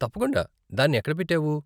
తప్పకుండా, దాన్ని ఎక్కడ పెట్టావు?